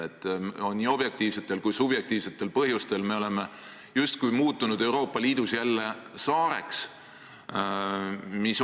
Me oleme nii objektiivsetel kui ka subjektiivsetel põhjustel muutunud Euroopa Liidus jälle justkui saareks.